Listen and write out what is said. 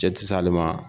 Cɛ ti s'ale ma